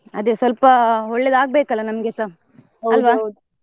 ಅದೇ ಸ್ವಲ್ಪ ಒಳ್ಳೇದಾಗ್ಬೇಕಲ್ಲಾ ನಮ್ಗೆಸಾ .